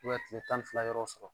tile tan ni fila yɔrɔ sɔrɔ